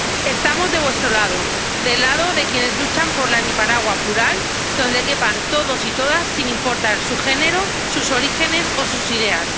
Estamos de vuestro lado, del lado de quienes luchan por la Nicaragua plural, donde quepan todos y todas sin importar su género, sus orígenes o sus ideas.